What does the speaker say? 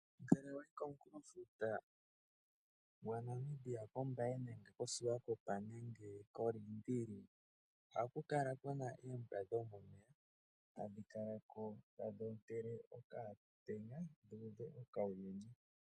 Ngele wayi komunkulo futa gwa Namibia kombaya nenge ko siwakopa nenge kolindili ohaku kala oombwa dhomomeya hadhi kala ko tadhi otele okamutenya dhi uve okawuyuni